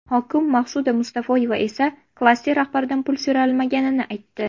Hokim Maqsuda Mustafoyeva esa klaster rahbaridan pul so‘ralmaganini aytdi.